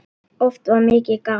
Oft var mikið gaman.